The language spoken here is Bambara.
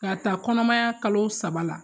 K'a ta kɔnɔmaya kalo saba la